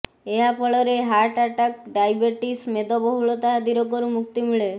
ଏହା ଫଳରେ heart attack diabetes ମେଦବହୁଳତା ଆଦି ରୋଗରୁ ମୁକ୍ତି ମିଳେ